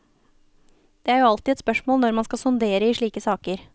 Det er jo alltid et spørsmål når man skal sondere i slike saker.